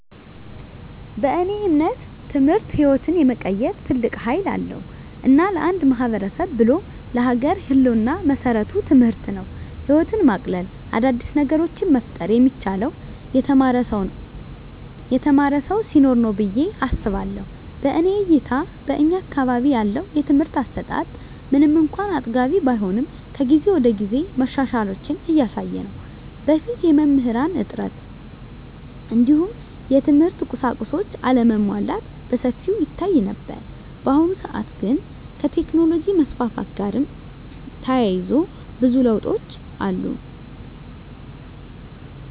በእኔ እምነት ትምህርት ህይወትን የመቀየር ትልቅ ሀይል አለዉ። እና ለአንድ ማህበረሰብ ብሎም ለሀገር ህልወና መሰረቱ ትምህርት ነው። ህይወትን ማቅለል : አዳዲስ ነገሮችን መፍጠር የሚቻለው የተማረ ሰው ሲኖር ነው ብየ አስባለሁ። በእኔ እይታ በእኛ አካባቢ ያለው የትምህርት አሰጣት ምንም እንኳን አጥጋቢ ባይሆንም ከጊዜ ወደጊዜ መሻሻሎችን እያሳየ ነው። በፊት የመምህራን እጥረት እንዲሁም የትምህርት ቁሳቁሶች አለመሟላት በሰፊው ይታይ ነበር። በአሁኑ ሰአት ግን ከቴክኖሎጅ መስፋፋት ጋርም ተያይዞ ብዙ ለውጦች አሉ።